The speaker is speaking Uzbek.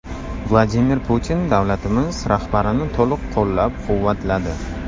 Vladimir Putin davlatimiz rahbarini to‘liq qo‘llab-quvvatladi.